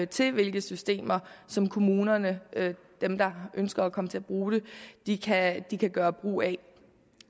til hvilke systemer som kommunerne dem der ønsker at komme til at bruge det kan gøre brug af